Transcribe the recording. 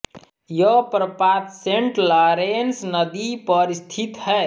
यह प्रपात Saint Lawrence नदी पर स्थित है